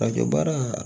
A kɛ baara